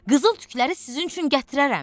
Qızıl tükləri sizin üçün gətirərəm.